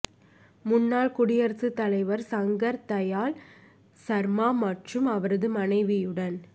முன்னாள் குடியரசுத் தலைவர் சங்கர் தயாள் சர்மா மற்றும் அவரது மனைவியுடன்